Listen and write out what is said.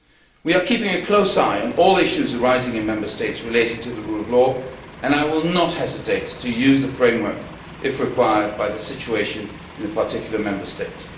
We are keeping a close eye on all issues arising in Member States relating to the rule of law, and I will not hesitate to use the framework if required by the situation in a particular Member State.